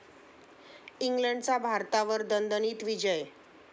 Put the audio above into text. इंग्लंडचा भारतावर दणदणीत विजय